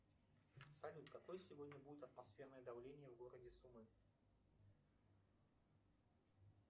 салют какое сегодня будет атмосферное давление в городе сумы